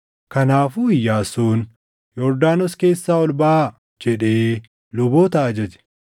Kanaafuu Iyyaasuun, “Yordaanos keessaa ol baʼaa” jedhee luboota ajaje.